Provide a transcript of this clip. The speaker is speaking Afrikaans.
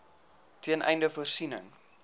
ten einde voorsiening